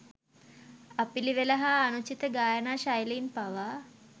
අපිළිවෙල හා අනුචිත ගායනා ශෛලීන් පවා